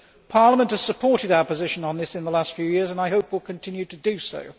Parliament has supported our position on this in the last few years and I hope will continue to do so.